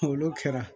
Olu kɛra